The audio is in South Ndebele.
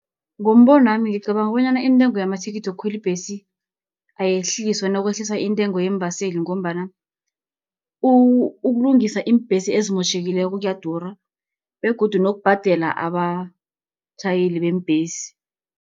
Ngombonwami ngicabanga bonyana intengo yamathikithi wokukhweli ibhesi ayehliswa, nakwehliswa intengo yeembaseli, ngombana ukulungisa iimbhesi ezimotjhekileko kuyadura, begodu nokubhadela abatjhayeli beembhesi.